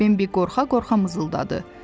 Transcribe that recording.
Bembi qorxa-qorxa mızıldadı.